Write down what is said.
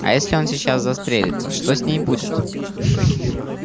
а если он сейчас застрелится что с ней будет